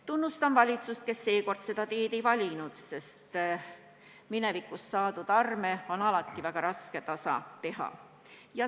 Tunnustan valitsust, kes seekord seda teed ei valinud, sest minevikus saadud arme on alati väga raske leevendada.